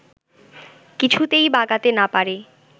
কিছুতেই বাগাতে না পেরে